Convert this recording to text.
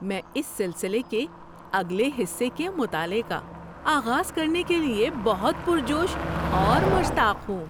میں اس سلسلے کے اگلے حصے کے مطالعے کا آغاز کرنے کے لیے بہت پُر جوش اور مشتاق ہوں!